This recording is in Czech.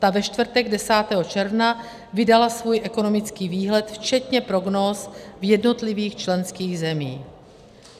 Ta ve čtvrtek 10. června vydala svůj ekonomický výhled včetně prognóz v jednotlivých členských zemích.